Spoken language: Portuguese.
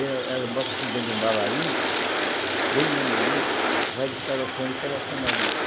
Ela ela bota assim dentro de um balainho, bem maneirinho, vai descaroçando e colocando ali.